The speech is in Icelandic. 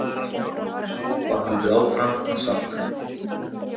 Svo var haldið áfram að salta.